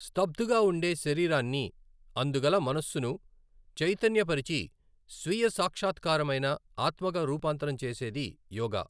స్థబ్దుగా ఉండే శరీరాన్ని అందుగల మనస్సును చైతన్య పరిచి స్వీయ సాక్షాత్కారమైన ఆత్మగా రూపాంతరం చేసేది యోగా.